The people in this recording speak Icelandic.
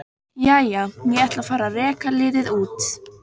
Jæja, ég ætla að fara að reka liðið út.